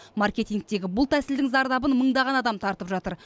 маркетингтегі бұл тәсілдің зардабын мыңдаған адам тартып жатыр